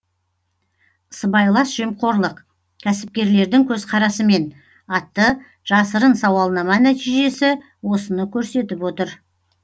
сыбайлас жемқорлық кәсіпкерлердің көзқарасымен атты жасырын сауалнама нәтижесі осыны көрсетіп отыр